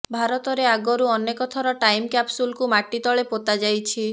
ଭାରତରେ ଆଗରୁ ଅନେକ ଥର ଟାଇମ୍ କ୍ୟାପସୁଲକୁ ମାଟି ତଳେ ପୋତା ଯାଇଛି